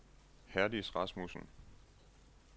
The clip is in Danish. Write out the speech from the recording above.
Herdis Rasmussen